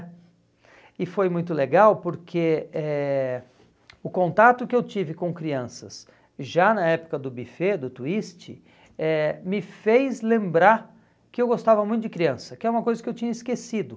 E foi muito legal porque eh o contato que eu tive com crianças já na época do buffet, do twist, eh me fez lembrar que eu gostava muito de criança, que é uma coisa que eu tinha esquecido.